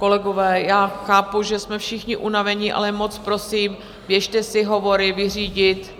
Kolegové, já chápu, že jsme všichni unaveni, ale moc prosím, běžte si hovory vyřídit